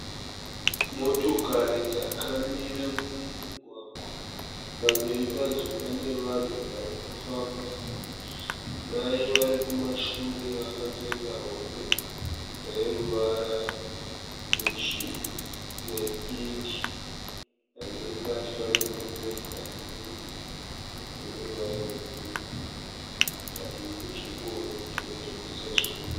Motokari dzakamira mumugwagwa, pamberi padzo pane vanhu varikufamba. Mai varikumashure vakapfeka rokwe reruvara rwepink. Pamberi pacho pane murume ane hembe yeruvara rweblue padivi pechingoro chinotengeswa zvinwiwa.